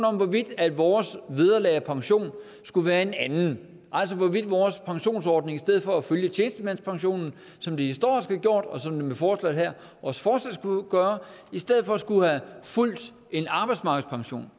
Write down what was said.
om hvorvidt vores vederlag og pension skulle være en anden altså hvorvidt vores pensionsordning i stedet for at følge tjenestemandspensionen som det historisk har gjort og som det med forslaget her også fortsat skulle gøre i stedet for skulle have fulgt en arbejdsmarkedspension